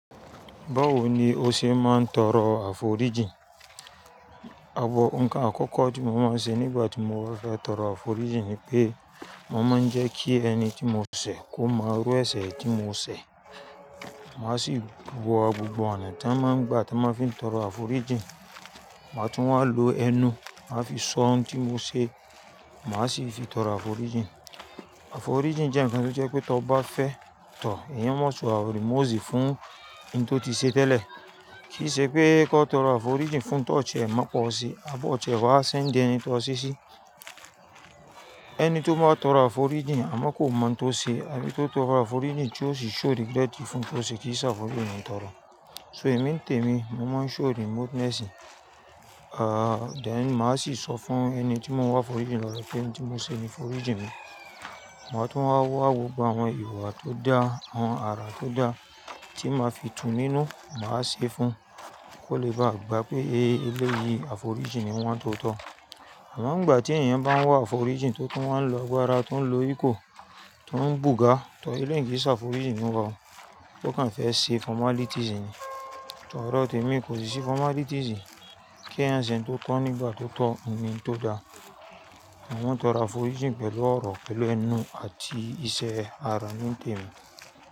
Báwo ni o ṣe máa ń tọrọ àforíjìn? Àwọ nǹkan àkọ́kọ́ tí mo máa ń ṣe nígbà tí mo ba fẹ́ tọrọ àforíjìn ni pé, mo máa ń jẹ́ kí ẹni tí mo ṣẹ̀ kó mo iru ẹsẹ̀ tí mo ṣẹ̀. Màá sì wo gbogbo ọ̀nà tí wọ́n máa ń gbà tí wọ́n fi ń tọrọ àforíjìn. Màá tún máa lo ẹnu, màá fi sọ ohun tí mo ṣe, màá sì fi tọrọ àforíjìn. Àforíjìn jẹ́ ǹkan tí ó jẹ́ pé tí ọ bá fẹ́ tọ̀, èèyàn máṣe wọ àwòrì, mú òsì fún ẹni tó ti ṣe tẹ́lẹ̀. Kì í ṣe pé kó tọrọ àforíjìn fún tọ̀ ọ̀ṣẹ́, má pọ̀ ọ̀ṣẹ́, àbọ̀ ọ̀ṣẹ́ máa sendi ẹni tó ṣeṣí. Ẹni tó bá tọrọ àforíjìn àmọ́ kò mọ ohun tó ṣe, àbí tó tọrọ àforíjìn tí ó sì show regret fún ohun tí ó ṣe kìí ṣàfórijín niyen tọrọ. So èmi ń tèmi, mo máa ń show remoteness, ah, then màá sì sọ fún ẹni tí mo ń wá foríjìn lọdọ pé n tí mo ṣe ni foríjìn mi. Ma tún wá wa gbogbo àwọn ìwà tó dá, àwọn àrà tó dá tí màá fi tú nínú, màá ṣe fún, kó lè bá gbà pé "e eleyii àforíjìn ni wan to tọ̀." Àwọn ìgbà tí èèyàn bá ń wá àforíjìn tó tún wáa ń lo agbára, tó ń lo ìko, tó ń bùgà tọ eleyi kii se àforíjìn ni wá, o kàn fẹ́ ṣe formalities ni. Tọrọ témi kò sì sí formalities. Kí a se n totoo nígbà tó tọ́ o ni tó da. Ẹ máa ń tọrọ àforíjìn pẹ̀lú ọ̀rọ̀, pẹ̀lú ẹnu àti iṣẹ́ ara ni ń tèmi.